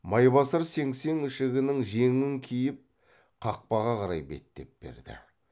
майбасар сеңсең ішігінің жеңін киіп қақпаға қарай беттеп берді